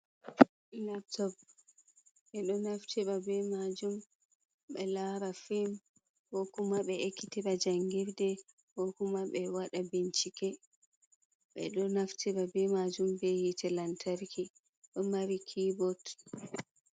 Laptop, ɓe ɗo naftira be majum ɓe lara fim ko kuma ɓe ekkitira jangirde, ko kuma ɓe waɗa bincike, ɓe ɗo nafti be majum be hii te lantarki ɗo mari kiybot.